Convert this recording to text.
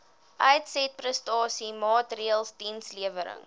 uitsetprestasie maatreëls dienslewerings